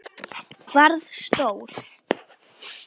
Varð stór.